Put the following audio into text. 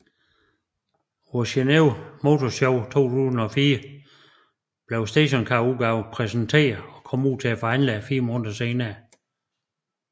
På Geneve Motor Show 2004 blev stationcarudgaven præsenteret og kom ud til forhandlerne fire måneder senere